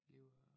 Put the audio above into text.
Lever